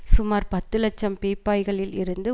சுமார் பத்து இலட்சம் பீப்பாய்களில் இருந்து